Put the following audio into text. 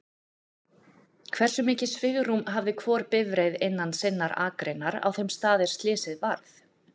Hversu mikið svigrúm hafði hvor bifreið innan sinnan akreinar á þeim stað er slysið varð?